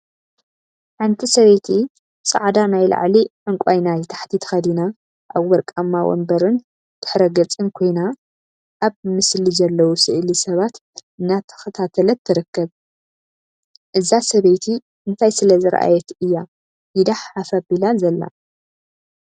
ሓንቲ ሰበይቲ ፃዕዳ ናይ ላዕሊ ዕንቋ ናይ ታሕቲ ተከዲና አብ ወርቃማ ወንበርን ድሕረ ገፅን ኮይና ፤ አብ ምስሊ ዘለው ስእሊ ሰባት እናተከታተለት ትርከብ፡፡ እዛ ሰበይቲ እንታይ ስለ ዝረአየት እያ ኢዳ ሓፍ አቢላ ዘላ?